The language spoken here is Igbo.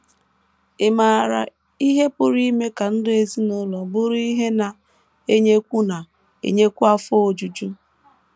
Ị̀ maara ihe pụrụ ime ka ndụ ezinụlọ bụrụ ihe na - enyekwu na - enyekwu afọ ojuju?